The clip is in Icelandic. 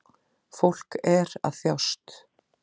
Fólk er að þjást